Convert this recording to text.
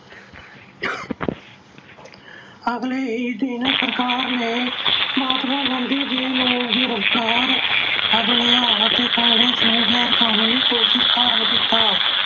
ਅਗਲੇ ਹੀ ਦਿਨ ਸਰਕਾਰ ਨੇ ਮਹਾਤਮਾ ਗਾਂਧੀ ਜੀ ਨੂੰ ਗ੍ਰਿਫ਼ਤਾਰ ਕਰ ਲਿਆ ਅਤੇ ਕਾਂਗਰਸ ਨੂੰ ਗੈਰ ਕਾਨੂੰਨੀ ਘੋਸ਼ਿਤ ਕਰ ਦਿੱਤਾ।